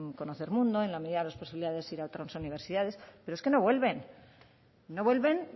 conocer mundo en la medida de las posibilidades ir a otras universidades pero es que no vuelven no vuelven